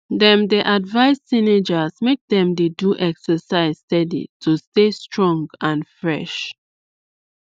dem dey advise teenagers make dem dey do exercise steady to stay strong and fresh